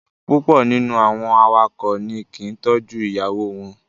Púpọ̀ nínú àwọn awakọ̀ ni kì í tọ́jú ìyàwó wọn.